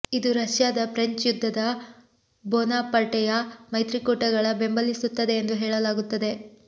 ಇದು ರಷ್ಯಾದ ಫ್ರೆಂಚ್ ಯುದ್ಧದ ಬೋನಾಪರ್ಟೆಯ ಮೈತ್ರಿಕೂಟಗಳ ಬೆಂಬಲಿಸುತ್ತದೆ ಎಂದು ಹೇಳಲಾಗುತ್ತದೆ